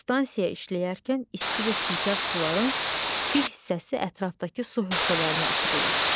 Stansiya işləyərkən isti və çirkab suların bir hissəsi ətrafdakı su hövzələrinə axıdılır.